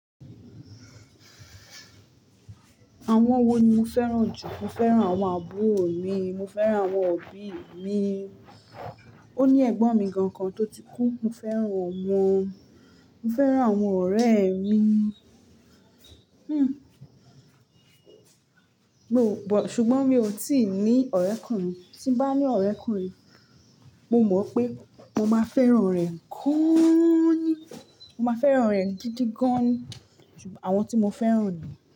Àwọn wo ni mo fẹ́ràn jù? Mo fẹ́ràn àwọn àbúrò mi, mo fẹ́ràn àwọn òbí mi. Ó ní ẹ̀gbọ́n mi gangan tó ti kú, mo fẹ́ràn ọ̀un. Mo fẹ́ràn àwọn ọ̀rẹ́ mi. Hmm. Mo-- ṣùgbọ́n mi ò tíì ní ọ̀rẹ́kùnrin. Tí bá ní ọ̀rẹ́kùnrin, mo mọ̀ pé mo máa fẹ́ràn rẹ̀ gaaani. Mo máa fẹ́ràn rẹ̀ gidi gan-an ni. Àwọn tí mo fẹ́ràn ni.